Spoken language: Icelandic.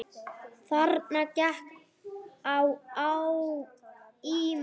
Þarna gekk á ýmsu.